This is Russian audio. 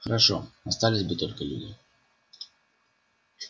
хорошо остались бы только люди